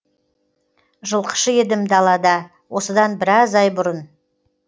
жылқышы едім далада осыдан біраз ай бұрын